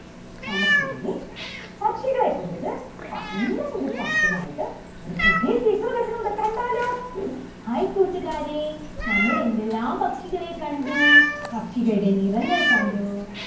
നമുക്കിനി പക്ഷികളെ കുറിച്ച് നല്ല ഒരു പാട്ടുമായിട്ട് ഒരു പുതിയ teacher വരുന്നുണ്ട്. കണ്ടാലോ hai കൂട്ടുകാരേ നമ്മളെന്തെല്ലാം പക്ഷികളെ കണ്ടു പക്ഷികളുടെ നിറങ്ങൾ കണ്ടു.